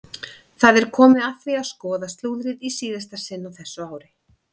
Það er komið að því að skoða slúðrið í síðasta sinn á þessu ári!